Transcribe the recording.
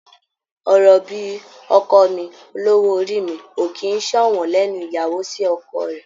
Ọ̀rọ̀ bíi "ọkọ mi", "olówó orí mi" ò kì í ṣọ̀wọ́n lẹ́nu ìyàwó sí ọkọ rẹ̀.